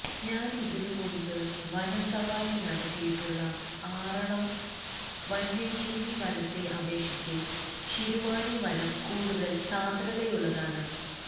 ഞാന് ഇതിനു മുമ്പ് വനസവാരി നടത്തിയിട്ടുള്ള ആറളം വന്യജീവി വനത്തെ അപേക്ഷിച്ച് ശിരുവാണി വനം കൂടുതല് സാന്ദ്രതയുള്ളതാണ്